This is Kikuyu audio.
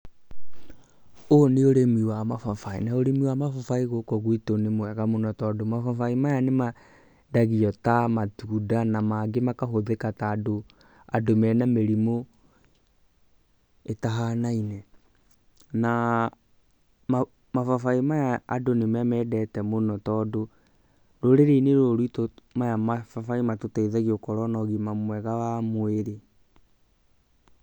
Ũyũ nĩ ũrĩmi wa mababaĩ, na ũrĩmi wa mababaĩ gũkũ gwitũ nĩ mwega mũno tondũ mababaĩ maya nĩ mendagio ta matunda na mangĩ makahũthĩka ta andũ mena mĩrimũ ĩtahanaine na mababaĩ maya andũ nĩ mamendete mũno tondũ rũrĩrĩ-inĩ rũrũ rwitũ maya mababaĩ matũteithagia gũkorwo na ũgima mwega wa mwĩrĩ.